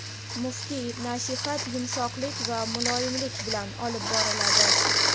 Muftiy: "Nasihat – yumshoqlik va muloyimlik bilan olib boriladi".